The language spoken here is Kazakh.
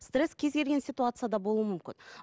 стресс кез келген ситуацияда болуы мүмкін